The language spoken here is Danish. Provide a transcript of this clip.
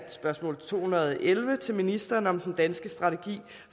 spørgsmål to hundrede og elleve til ministeren om den danske strategi